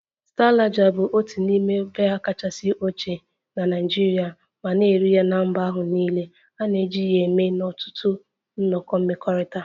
Star lager bụ otu n'ime biya kachasị ochie na Nigeria ma na-eri ya na mba ahụ niile, a na-eji ya eme ihe n'ọtụtụ nnọkọ mmekọrịta